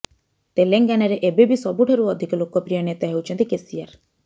ତେଲେଙ୍ଗାନାରେ ଏବେବି ସବୁଠାରୁ ଅଧିକ ଲୋକପ୍ରିୟ ନେତା ହେଉଛନ୍ତି କେସିଆର